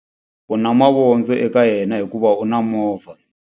U na mavondzo eka yena hikuva u na movha.